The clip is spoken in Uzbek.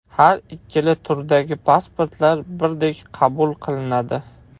Har ikkala turdagi pasportlar birdek qabul qilnadi.